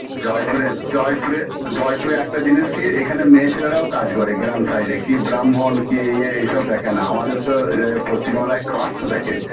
জয়পুরের জয়পুরে জয়পুরে একটা জিনিস কি এখানে মেয়ে ছেলেরাও কাজ করে গ্রাম side -এ কি ব্রাহ্মণ কে ইয়ে এইসব দেখেন না আমাদের তো ইয়ে পশ্চিমবাংলায় cast দেখে